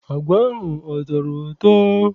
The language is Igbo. Agwa ahụ a tọrọ ụtọ?